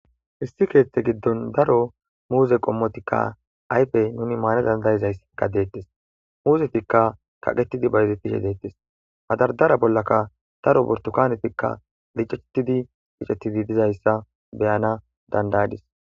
hissi keeththe giddon daro muuze qommotikka aypey nuni maana dandayizayssikka deettes muuzetikka kaqetidi bayezetishe deettes madardara bollaka daro burtukanetikka liceetidi qiccetidi dizayssa beyana dandayadis